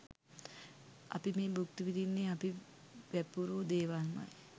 අපි මේ භුක්ති විදින්නෙ අපි වැපිරූ දේවල්මයි‍.